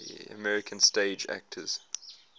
american stage actors